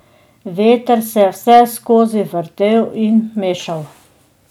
Veter se je vseskozi vrtel in mešal.